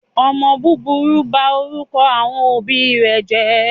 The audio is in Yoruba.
omó búburú ń bá inú àwọn òbí jé.